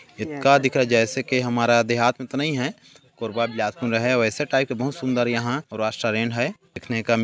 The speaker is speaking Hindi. ये का दिखाई दे रहा है जैसे की हमारा देहात में तो नहीं है कोरबा बिलासपुर में है वैसे टाइप का बहुत सुन्दर यहाँ रेस्टारेंट है देखने का --